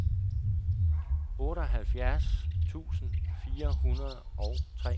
otteoghalvfjerds tusind fire hundrede og treogtredive